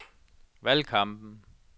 valgkampen